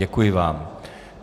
Děkuji vám.